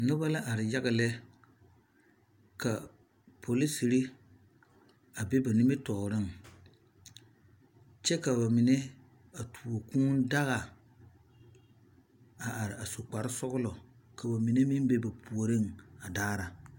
Noba la are yaga lɛ ka polisiri a be ba nimitɔɔreŋ kyɛ ka bamine a tuo kūū daga a are a su kpare sɔgelɔ k'o mine meŋ be ba puoriŋ a daara.